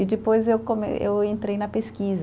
E depois eu come, eu entrei na pesquisa.